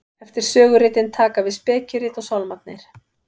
eftir söguritin taka við spekirit og sálmarnir